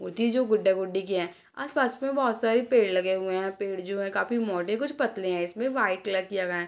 मूर्ति जो गुड्डा-गुड्डी की हैं आस-पास में बहुत सारे पेड़ लगे हुए हैं और पेड़ जो हैं काफी मोटे कुछ पतले हैं इसमें वाइट कलर किये गए हैं।